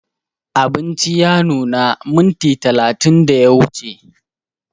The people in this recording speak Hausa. Abinci ya nuna minti talatin da ya wuce